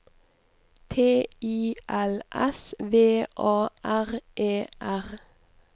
T I L S V A R E R